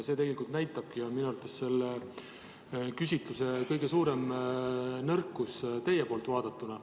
See tegelikult näitabki seda, mis on minu arvates selle küsitluse kõige suurem nõrkus teie poolt vaadatuna.